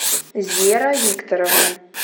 зера викторовна